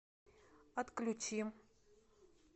отключи